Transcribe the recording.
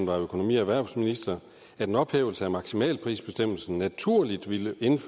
var økonomi og erhvervsminister at en ophævelse af maksimalprisbestemmelsen naturligt ville